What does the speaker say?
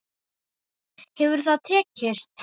Hefur það tekist?